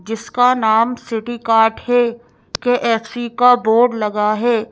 जिसका नाम city cart है के_ एफ_ सी_ का बोर्ड लगा है।